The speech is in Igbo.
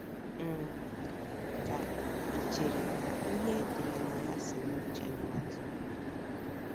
n? Ka ì chere na ihe e dere na ya si n’uche mmadụ?